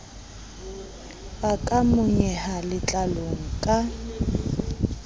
a ka monyeha letlalong ka